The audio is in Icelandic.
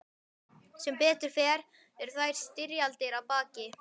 Sem betur fer eru þær styrjaldir að baki.